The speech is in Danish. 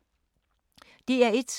DR1